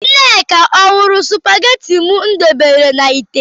Nneka ọ hụrụ spagetị m debere na ite?